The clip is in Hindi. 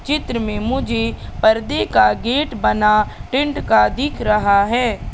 चित्र में मुझे पर्दे का गेट बना टेंट का दिख रहा है।